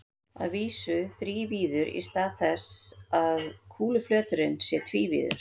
Að vísu þrívíður í stað þess að kúluflöturinn sé tvívíður.